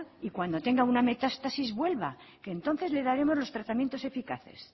y cuando tenga una metástasis vuelva entonces le daremos los tratamientos eficaces